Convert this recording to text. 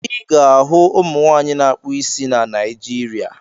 Ị ga-ahụ ụmụ nwaanyị na-akpụ isi na Naịjirịa.